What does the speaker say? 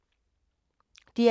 DR K